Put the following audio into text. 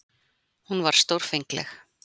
Hún var stórfengleg.